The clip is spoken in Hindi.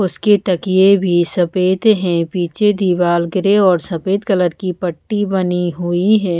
उसके तकिए भी सफ़ेद हैं पीछे दीवार ग्रे और सफ़ेद कलर की पट्टी बनी हुई है।